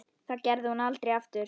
Það gerði hún aldrei aftur.